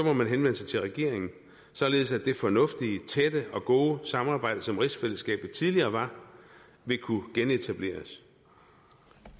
må man henvende sig til regeringen således at det fornuftige tætte og gode samarbejde som rigsfællesskabet tidligere var vil kunne genetableres